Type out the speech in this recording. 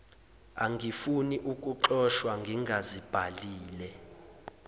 angifuni ukuxoshwa ngingazibhalile